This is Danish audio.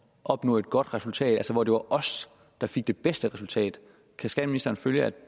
opnå et godt resultat altså hvor det var os der fik det bedste resultat kan skatteministeren følge at